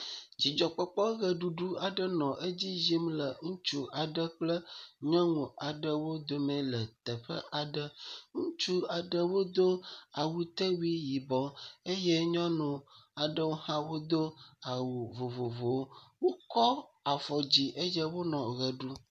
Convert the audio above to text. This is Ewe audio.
Dzidzɔkpɔkpɔ ʋeɖuɖu aɖe nɔ edzi yim ŋutsu aɖe kple nyɔnu aɖewo dome le teƒe aɖe. ŋutsu aɖewo do awutewui yibɔ eye nyɔnu aɖewo hã wodo awu vovovowo. Wokɔ afɔ dzi eye wole ʋe ɖe ɖum.